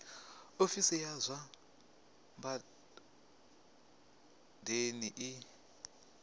ofisi ya zwa badani i